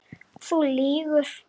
Þú lýgur.